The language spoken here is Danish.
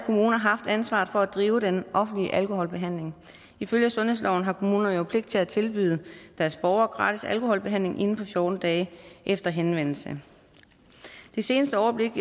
kommuner haft ansvaret for at drive den offentlige alkoholbehandling ifølge sundhedsloven har kommunerne jo pligt til at tilbyde deres borgere gratis alkoholbehandling inden for fjorten dage efter henvendelse det seneste overblik